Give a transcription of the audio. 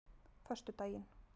föstudaginn